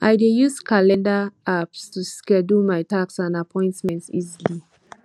i dey use calendar apps to schedule my tasks and appointments easily